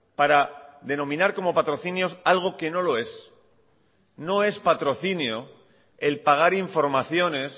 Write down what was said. para denominar como patrocinios algo que no lo es no es patrocinio el pagar informaciones